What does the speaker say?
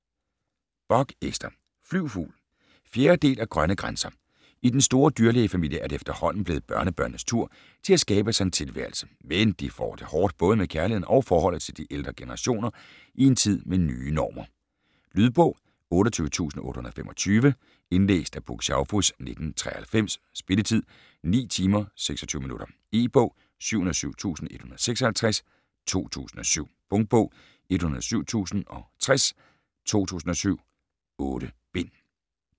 Bock, Ester: Flyv fugl 4. del af Grønne grænser. I den store dyrlægefamilie er det efterhånden blevet børnebørnenes tur til at skabe sig en tilværelse, men de får det hårdt både med kærligheden og forholdet til de ældre generationer i en tid med nye normer. Lydbog 28825 Indlæst af Puk Schaufuss, 1993. Spilletid: 9 timer, 26 minutter. E-bog 707156 2007. Punktbog 107060 2007. 8 bind.